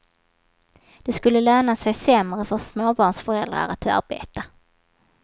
Det skulle löna sig sämre för småbarnsföräldrar att arbeta.